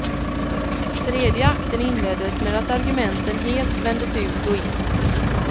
Tredje akten inleddes med att argumenten helt vändes ut och in.